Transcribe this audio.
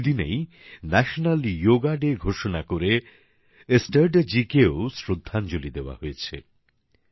এই দিনেই জাতীয় যোগ দিবস ঘোষণা করে এস্ট্রাডা জিকে শ্রদ্ধাঞ্জলি দেওয়া হয়েছে